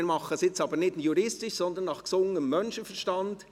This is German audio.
Wir machen dies nun nicht juristisch, sondern nach gesundem Menschenverstand.